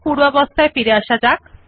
পূর্বের অবস্থায় ফিরে আসা যাক